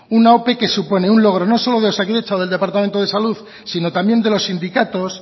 una ope que supone un logro no solo de osakidetza o del departamento de salud sino también de los sindicatos